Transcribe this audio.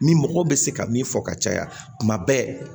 Ni mɔgɔw bɛ se ka min fɔ ka caya kuma bɛɛ